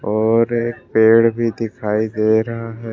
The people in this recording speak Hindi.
और एक पेड़ भी दिखाई दे रहा है।